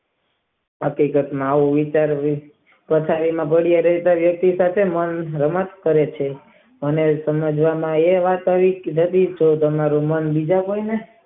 હકીકત માં આવું વિચારવું ખાસાયેલા બડીયા પાસ રમત કરે છે અને તમને બોર્ડ માં એવી વાત કરીયે.